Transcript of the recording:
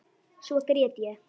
Svo grét ég.